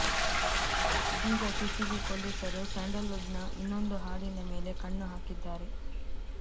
ಇದೀಗ ಸಿಸಿಬಿ ಪೊಲೀಸರು ಸ್ಯಾಂಡಲ್ವುಡ್ನ ಇನ್ನೊಂದು ಹಾಡಿನ ಮೇಲೆ ಕಣ್ಣು ಹಾಕಿದ್ದಾರೆ